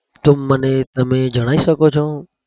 તો મને તમે જણાઈ શકો છો?